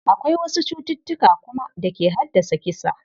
Akwai wasu cututtuka kuma da ke haddasa kisa.